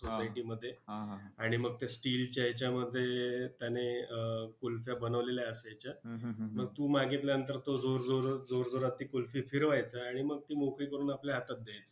सोसायटीमध्ये आणि मग त्या steel च्या ह्याच्यामध्ये त्याने अं कुल्फ्या बनवलेल्या असायच्या. मग तू मागितल्यानंतर तो जोरजोरात, जोरजोरात ती कुल्फी फिरवायचा आणि मग ती मोकळी करून आपल्या हातात द्यायचा.